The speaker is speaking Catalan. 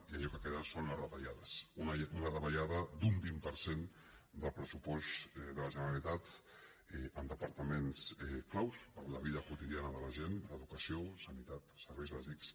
i allò que queden són les retallades una da·vallada d’un vint per cent del pressupost de la genera·litat en departaments clau per a la vida quotidiana de la gent educació sanitat serveis bàsics